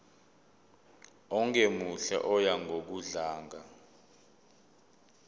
ongemuhle oya ngokudlanga